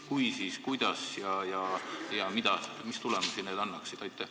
Kui jah, siis kuidas ja mida ning mis tulemusi need annaksid?